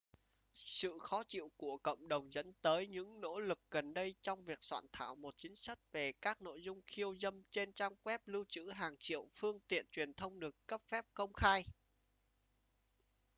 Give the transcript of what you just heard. sự khó chịu của cộng đồng dẫn tới những nỗ lực gần đây trong việc soạn thảo một chính sách về các nội dung khiêu dâm trên trang web lưu trữ hàng triệu phương tiện truyền thông được cấp phép công khai